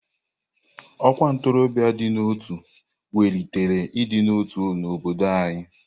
Ọkwa ntorobia dị n'otu welitere ịdị n'otu n'obodo anyị.